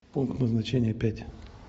пункт назначения пять